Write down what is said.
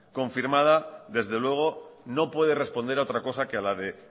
confirmada desde luego no puede responder a otra cosa que a la de